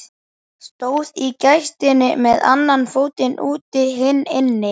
Stóð í gættinni með annan fótinn úti, hinn inni.